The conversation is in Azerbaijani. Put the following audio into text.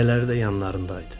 Dayələri də yanlarında idi.